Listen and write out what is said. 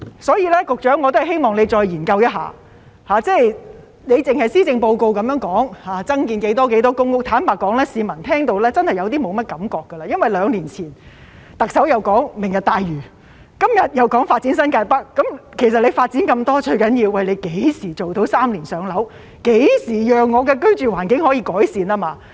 所以，我希望局長再研究一下，施政報告只是說要增建多少多少公屋，坦白說，有些市民已聽到沒有感覺了，因為兩年前，特首談到"明日大嶼"，今天又說發展新界北，其實發展那麼多，最重要的是何時做到"三年上樓"，何時讓市民的居住環境得到改善。